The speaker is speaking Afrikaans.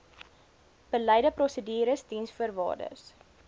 beleide prosedures diensvoorwaardes